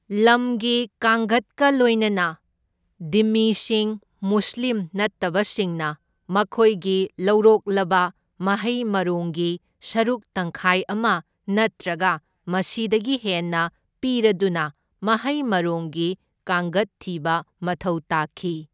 ꯂꯝꯒꯤ ꯀꯥꯡꯒꯠꯀ ꯂꯣꯏꯅꯅ ꯙꯤꯝꯃꯤꯁꯤꯡ ꯃꯨꯁꯂꯤꯝ ꯅꯠꯇꯕꯁꯤꯡꯅ ꯃꯈꯣꯏꯒꯤ ꯂꯧꯔꯣꯛꯂꯕ ꯃꯍꯩ ꯃꯔꯣꯡꯒꯤ ꯁꯔꯨꯛ ꯇꯪꯈꯥꯏ ꯑꯃ ꯅꯠꯇ꯭ꯔꯒ ꯃꯁꯤꯗꯒꯤ ꯍꯦꯟꯅ ꯄꯤꯔꯗꯨꯅ ꯃꯍꯩ ꯃꯔꯣꯡꯒꯤ ꯀꯥꯡꯒꯠ ꯊꯤꯕ ꯃꯊꯧ ꯇꯥꯈꯤ꯫